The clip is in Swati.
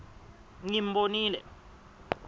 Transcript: ngimbonile